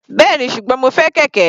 Bẹ́ẹ̀ni, ṣùgbọ́n mo fẹ́ kẹ̀kẹ́.